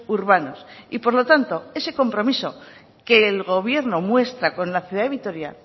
urbanos y por lo tanto ese compromiso que el gobierno muestra con la ciudad de vitoria